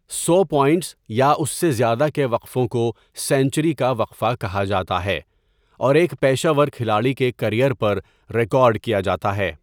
سو points یا اس سے زیادہ کے وقفوں کو سنچری کا وقفہ کہا جاتا ہے اور ایک پیشہ ور کھلاڑی کے کیریئر پر ریکارڈ کیا جاتا ہے۔